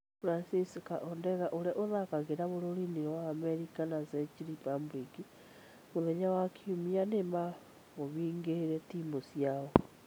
Francisca Ordega ũrĩa ũthaakagĩra bũrũri-inĩ wa Amerika na Czech Republic mũthenya wa kiumia ni ma mabungĩire timũ ciao.